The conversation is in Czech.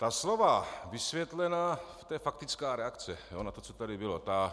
Ta slova vysvětlena - to je faktická reakce na to, co tady bylo.